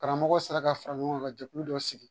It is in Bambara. Karamɔgɔ sera ka fara ɲɔgɔn kan ka jɛkulu dɔ sigi